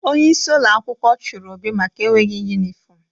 Onyeisi ụlọ akwụkwọ chụrụ Obi maka enweghi yunifọmụ.